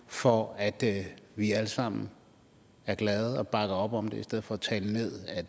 for at vi alle sammen var glade og bakkede op om det i stedet for at tale ned at